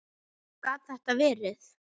Gat þetta verið?